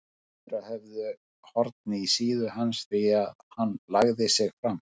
Sumir þeirra höfðu horn í síðu hans því hann lagði sig fram.